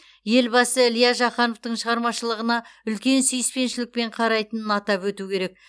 елбасы илья жақановтың шығармашылығына үлкен сүйіспеншілікпен қарайтынын атап өту керек